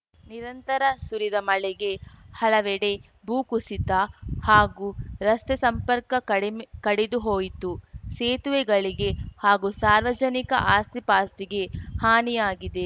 ನಿರಂತರ ಸುರಿದ ಮಳೆಗೆ ಹಲವೆಡೆ ಭೂ ಕುಸಿತ ಹಾಗೂ ರಸ್ತೆ ಸಂಪರ್ಕ ಕಡಿಮೆ ಕಡಿದು ಹೋಯಿತು ಸೇತುವೆಗಳಿಗೆ ಹಾಗೂ ಸಾರ್ವಜನಿಕ ಆಸ್ತಿಪಾಸ್ತಿಗೆ ಹಾನಿಯಾಗಿದೆ